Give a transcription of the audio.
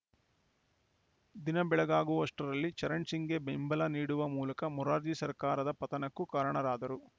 ದಿನಬೆಳಗಾಗುವಷ್ಟರಲ್ಲಿ ಚರಣ್‌ ಸಿಂಗ್‌ಗೆ ಬೆಂಬಲ ನೀಡುವ ಮೂಲಕ ಮೊರಾರ್ಜಿ ಸರ್ಕಾರದ ಪತನಕ್ಕೂ ಕಾರಣರಾದರು